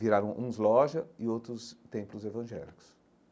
Viraram uns lojas e outros templos evangélicos.